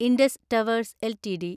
Indus Towers LTD